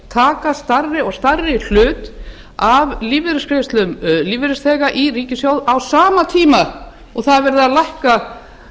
taka stærri og stærri hlut af lífeyrisgreiðslum lífeyrisþega í ríkissjóð á sama tíma og verið er að lækka